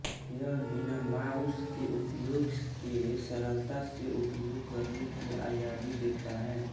यह बिना माऊस के उपयोग के सरलता से उपयोग करने की आजादी देता है